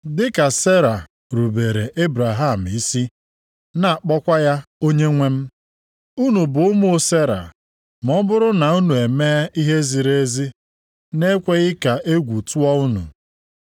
Dịka Sera rubeere Ebraham isi, na-akpọkwa ya onyenwe m. Unu bụ ụmụ Sera ma ọ bụrụ na unu e mee ihe ziri ezi, na-ekweghị ka egwu tụọ unu.